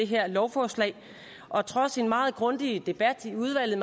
her lovforslag og trods en meget grundig debat i udvalget